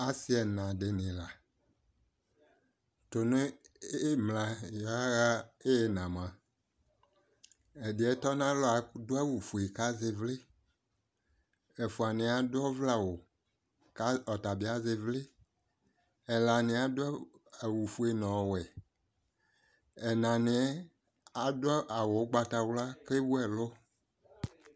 Asɩ ɛna dɩnɩ la:tʋ nʋ ɩmla yɔaɣa n'ɩyɩna mʋa , ɛdɩɛ atɔ n'alɔ adʋ awʋfue k'azɛ ɩvlɩ, ɛfʋanɩɛ adʋ ɔvlɛawʋ ka ɔta bɩ azɛ ɩvlɩ Ɛlanɩɛ adʋ awʋfue n'ɔwɛ, ɛnɩɛ adʋ awʋ ʋgbatawla k'ewʋ ɛlʋ